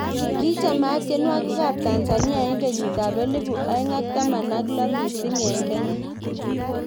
Ki chamaat tyenwogik ab Tanzania eng' kenyit ab elibu aeng' ak taman ak lo missing eng Kenya